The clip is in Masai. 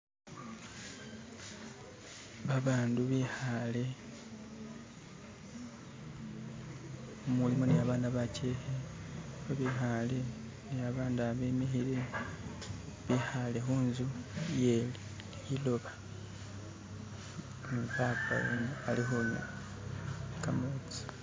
Babandu bikale mulimo ni abana bajeeke babikaale ni abandu abimikiile, bikaale kunzu iye liloba ni baba weene alikunywa kametsi.